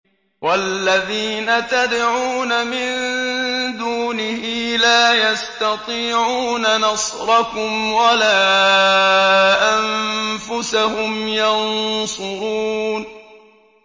وَالَّذِينَ تَدْعُونَ مِن دُونِهِ لَا يَسْتَطِيعُونَ نَصْرَكُمْ وَلَا أَنفُسَهُمْ يَنصُرُونَ